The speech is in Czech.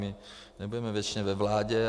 My nebudeme věčně ve vládě.